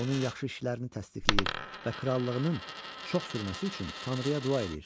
Onun yaxşı işlərini təsdiqləyir və krallığının çox sürməsi üçün Tanrıya dua eləyir.